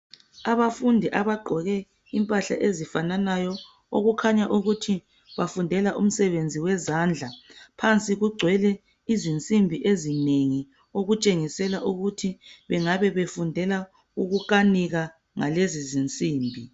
Abafundi abagqoke impahla ezifananayo okukhanya ukuthi bafundela umsebenzi wezandla. Phansi kugcwele izinsimbi ezinengi ukutshengisela ukuthi bengabe befundela ukukanika ngalezi zinsimbi.